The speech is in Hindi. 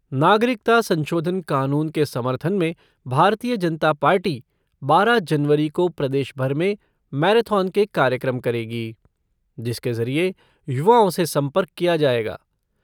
नागरिकता संशोधन कानून के समर्थन में भारतीय जनता पार्टी बारह जनवरी को प्रदेश भर में मैराथन के कार्यक्रम करेगी जिसके जरिए युवाओं से संपर्क किया जाएगा।